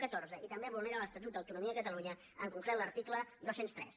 catorze i també vulnera l’estatut d’autonomia de catalunya en concret l’article dos cents i tres